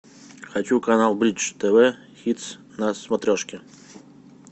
хочу канал бридж тв хитс на смотрешке